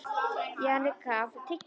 Jannika, áttu tyggjó?